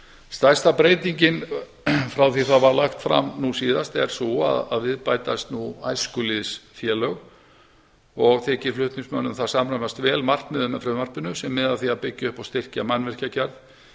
stærsta breytingin frá því að það var lagt fram nú síðast er sú að við bætast nú æskulýðsfélög og þykir flutningsmönnum það samræmast vel markmiðið með frumvarpinu sem miðar að því að byggja upp og styrkja mannvirkjagerð